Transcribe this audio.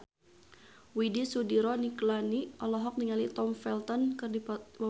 Widy Soediro Nichlany olohok ningali Tom Felton keur diwawancara